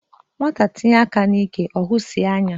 Nwata tinye aka ya n'ike ọhụụ nsi anya.